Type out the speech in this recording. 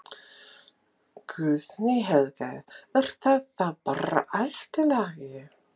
Guðný Helga: Er það þá bara allt í lagi?